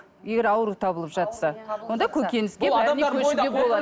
егер ауру табылып жатса онда көкөніске бәріне көшуге болады